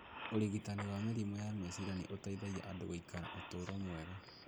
Ũrigitani wa mĩrimũ ya meciria nĩ ũteithagia andũ gũikara ũtũũro mwega.